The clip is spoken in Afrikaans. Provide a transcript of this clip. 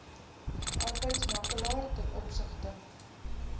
arbeidsmakelaar ten opsigte